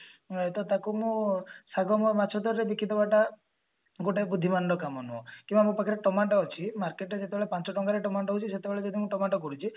ହଁ ତ ତାକୁ ମୁଁ ବିକି ଦବାଟା ଗୋଟେ ବୁଦ୍ଧିମାନ ର କାମ ନୁହଁ କିମ୍ବା ଆମ ପାଖରେ ଟମାଟ ଅଛି market ଯେତେବେଳେ ପାଞ୍ଚ ଟଙ୍କା ର ଟମାଟ ହଉଛି ସେତେବେଳେ ଦେଖନ୍ତୁ ଟମାଟ ବଢୁଛି